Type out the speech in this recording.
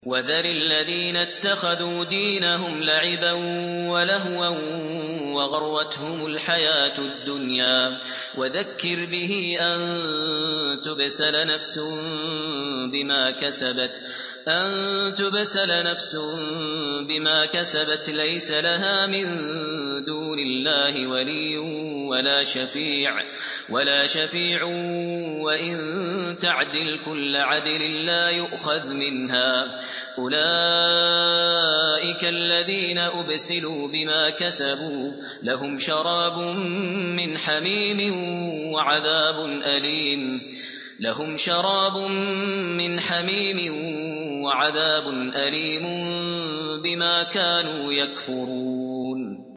وَذَرِ الَّذِينَ اتَّخَذُوا دِينَهُمْ لَعِبًا وَلَهْوًا وَغَرَّتْهُمُ الْحَيَاةُ الدُّنْيَا ۚ وَذَكِّرْ بِهِ أَن تُبْسَلَ نَفْسٌ بِمَا كَسَبَتْ لَيْسَ لَهَا مِن دُونِ اللَّهِ وَلِيٌّ وَلَا شَفِيعٌ وَإِن تَعْدِلْ كُلَّ عَدْلٍ لَّا يُؤْخَذْ مِنْهَا ۗ أُولَٰئِكَ الَّذِينَ أُبْسِلُوا بِمَا كَسَبُوا ۖ لَهُمْ شَرَابٌ مِّنْ حَمِيمٍ وَعَذَابٌ أَلِيمٌ بِمَا كَانُوا يَكْفُرُونَ